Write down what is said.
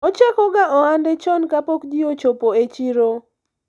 ochako ga ohande chon ka pok ji ochopo e chiro